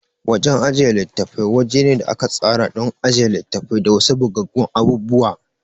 Wajan ajiye litattafai wajene a aka tsara to ajiye litafi da wasu bugaggun abubuwa